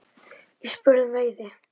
Ég spurði um veiði.